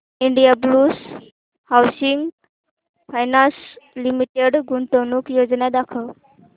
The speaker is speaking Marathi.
इंडियाबुल्स हाऊसिंग फायनान्स लिमिटेड गुंतवणूक योजना दाखव